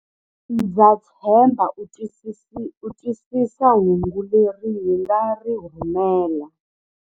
Ndza tshemba u twisisa hungu leri hi nga ri rhumela.